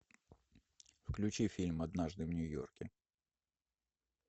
включи фильм однажды в нью йорке